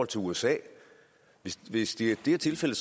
til usa hvis det er tilfældet